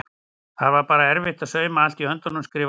Það var bara erfitt að sauma allt í höndunum skrifar hún.